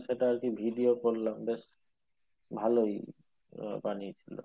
সেটা আরকি video করলাম বেশ ভালোই গুলো।